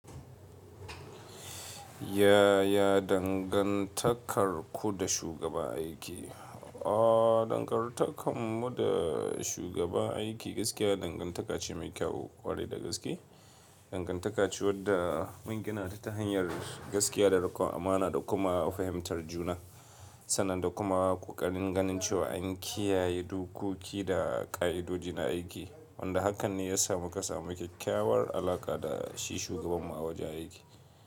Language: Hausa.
Ya ya dangantakar ku da shugaba aiki? Ooo dangantakar mu da shugaba aiki gaskiya dangantaka ce mai kyau ƙwarai da gaske. Dangantaka ce wadda mun gina ta ta hanyar gaskiya da riƙon amana da kuma fahimtar juna. Sannan da kuma ƙoƙarin ganin cewa an kiyaye dokoki da ƙa'idodi na aiki. Wanda hakan ne ya samu ka samu kyakkyawar alaƙa da shi shugaban mu a wajen aiki.